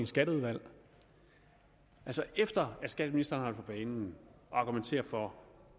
skatteudvalg altså efter at skatteministeren på banen og argumenteret for